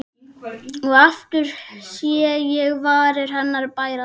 Og aftur sé ég varir hennar bærast.